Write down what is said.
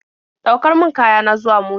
Ɗaukar min kaya na zuwa mota.